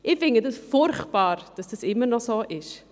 » Ich finde furchtbar, dass es immer noch so ist.